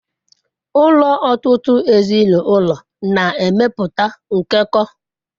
Ụlọ ọtụtụ ezinụlọ na-emepụta nkekọ.